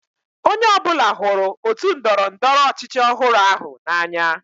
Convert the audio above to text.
Onye ọ bụla hụrụ otu ndọrọ ndọrọ ọchịchị ọhụrụ ahụ n'anya.